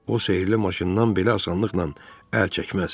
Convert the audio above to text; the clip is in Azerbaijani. O sehirli maşından belə asanlıqla əl çəkməz.